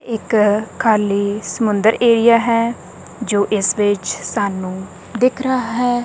ਇੱਕ ਖਾਲੀ ਸਮੁੰਦਰ ਏਰੀਆ ਹੈ ਜੋ ਇਸ ਵਿੱਚ ਸਾਨੂੰ ਦਿਖ ਰਹਾ ਹੈ।